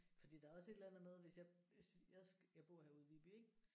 Fordi der er også et eller andet med hvis jeg hvis jeg skal jeg bor herude i Viby ik